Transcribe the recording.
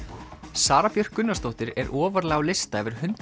Sara Björk Gunnarsdóttir er ofarlega á lista yfir hundrað